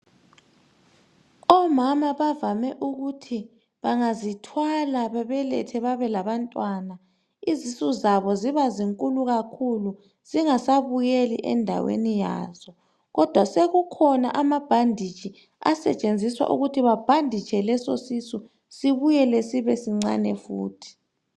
Omama bavame ukuthi bangazithwala, babelethe babe labantwana. Izisu zabo zibankulu kakhulu, zingasabuyeli endaweni yazo. Kodwa sekukhona amabandage, asetshenziswa uiuthi babhanditshe lesisisu. Sibuyele sibesincane futhi.